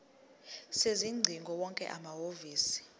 sezingcingo wonke amahhovisi